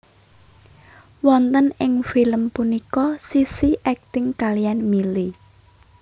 Wonten ing film punika Sissy akting kaliyan Milly